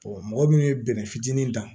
mɔgɔ min ye bɛnɛ fitinin ta